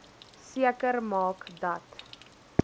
seker maak dat